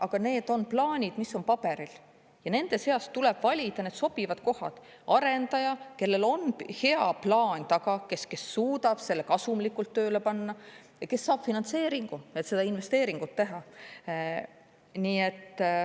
Aga need on plaanid, mis on paberil, ja nende seast tuleb valida sobivad kohad, arendaja, kellel on hea plaan taga, kes suudab selle kasumlikult tööle panna ja kes saab finantseeringu, et seda investeeringut teha.